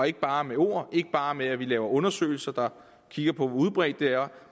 ikke bare med ord ikke bare med at lave undersøgelser der kigger på hvor udbredt det er